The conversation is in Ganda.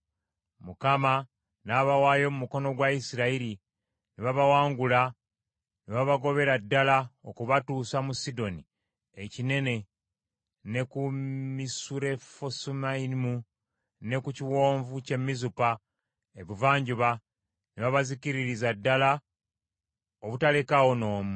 Mukama n’abawaayo mu mukono gwa Isirayiri ne babawangula ne babagobera ddala, okubatuusa mu Sidoni ekinene ne ku Misurefosumayimu, ne ku kiwonvu kye Mizupa ebuvanjuba, ne babazikiririza ddala obutalekaawo n’omu.